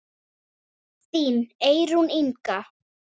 Þín Eyrún Inga.